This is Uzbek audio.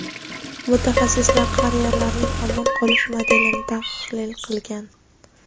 mutaxassislar qariyalarning omon qolish modelini tahlil qilgan.